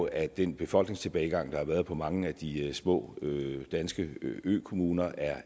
at den befolkningstilbagegang der har været i mange af de små danske økommuner er